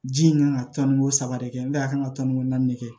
Ji in kan ka tɔnni ko saba de kɛ n'a ye a kan ka tɔnni ko naani de kɛ